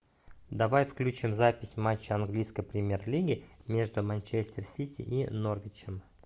давай включим запись матча английской премьер лиги между манчестер сити и норвичем